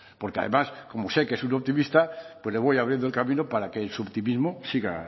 porque además como sé que es un optimista pues le voy abriendo el camino para que en su optimismo siga